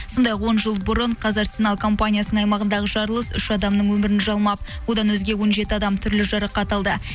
сондай ақ он жыл бұрын қазарсенал компаниясының аймағындағы жарылыс үш адамның өмірін жалмап одан өзге он жеті адам түрлі жарақат алды